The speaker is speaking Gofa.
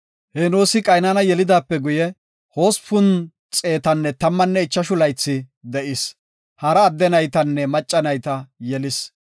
Henoosi Qaynana yelidaape guye, 815 laythi de7is. Hara adde naytanne macca nayta yelis.